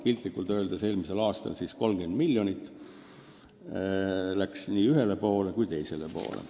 Piltlikult öeldes läks eelmisel aastal 30 miljonit nii ühele kui teisele poole.